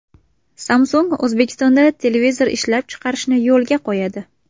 Samsung O‘zbekistonda televizor ishlab chiqarishni yo‘lga qo‘yadi.